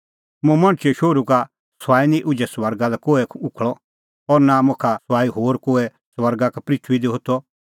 मुंह मणछे शोहरू का सुआई निं उझै स्वर्गा लै कोहै उखल़अ और नां मुखा सुआई होर कोहै स्वर्गा का पृथूई दी होथअ